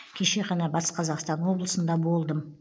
кеше ғана батыс қазақстан облысында болдым